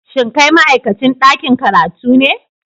Shin kai ma'aikacin dakin karatu ne?